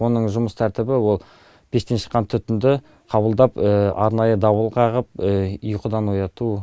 оның жұмыс тәртібі ол пештен шыққан түтінді қабылдап арнайы дабыл қағып ұйқыдан ояту